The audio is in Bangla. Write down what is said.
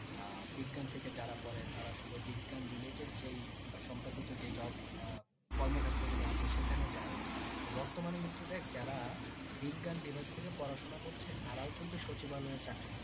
আহ বিজ্ঞান থেকে যারা পড়ে তারা শুধু বিজ্ঞান related যেই বা সম্পর্কিত যেই job কর্মক্ষেত্র গুলো আছে সেখানে যায় তো বর্তমানে কিন্তু দেখ যারা বিজ্ঞান বিভাগ থেকে পড়াশোনা করছে তারাও কিন্তু সচিবালয়ে চাকরি করছে